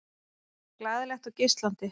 Glaðlegt og geislandi.